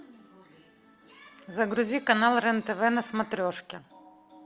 загрузи канал рен тв на смотрешке